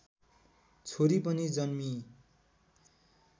छोरी पनि जन्मिई